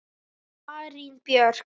Marín Björk.